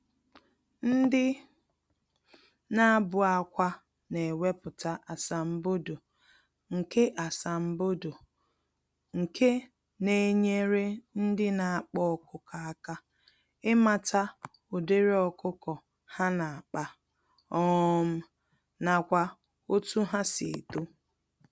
Ndị nabụ-akwá newepụta asambodo, nke asambodo, nke Na-enyere ndị n'akpa ọkụkọ àkà ịmata ụdịrị ọkụkọ ha nakpa, um nakwa otú ha si eto